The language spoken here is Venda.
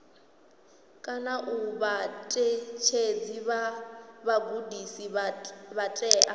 vhaṋetshedzi vha vhugudisi vha tea